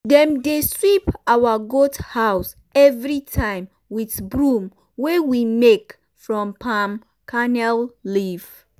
dem dey sweep our goat house every time with broom wey we make from palm kernel leaf